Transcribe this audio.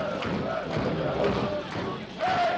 Maria Holst